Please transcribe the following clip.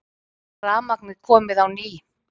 Rafmagnið komið á ný